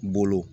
Bolo